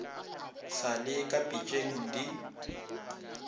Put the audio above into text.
sa le ka pitšeng di